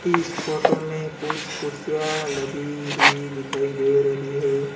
इस फोटो में कुछ कुर्सियां लगी हुई दिखाई दे रही है।